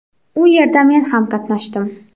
U yerda men ham qatnashdim.